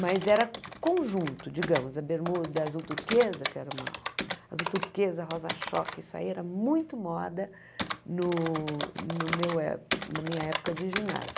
Mas era conjunto, digamos, a bermuda azul turquesa, que era uma... Azul turquesa, rosa choque, isso aí era muito moda no no meu é na minha época de ginásio.